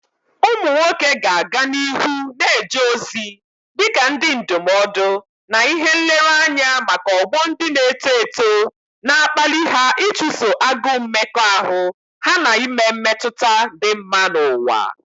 Ụmụ nwoke ga-aga n'ihu na-eje ozi dị ka ndị ndụmọdụ na ihe nlereanya maka ọgbọ ndị na-eto eto, na-akpali ha ịchụso agụụ mmekọahụ ha na ime mmetụta dị mma n'ụwa.